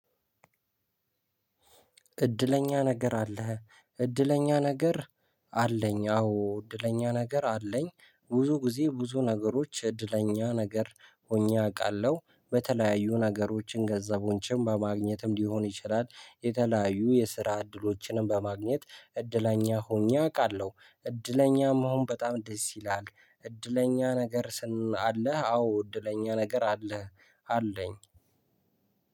እድለኛ ነገር አለህ? እድለኛ ነገር አለኝ። አዎ፤ እድለኛ ነገር አለኝ። ብዙ ጊዜ ብዙ ነገሮች እድለኛ ነገር ሆኜ አውቃለሁ። በተለያዩ ነገሮችን ገንዘቦችን በማግኘትም ሊሆን ይችላል። የተለያዩ የስራ እድሎችንም በማግኘት እድለኛ ሆኜ አውቃለሁ። እድለኛም መሆን በጣም ደስ ይላል። እድለኛ ነገር ስን አለህ አዎ እድለኛ ነገር አለህ አለኝ።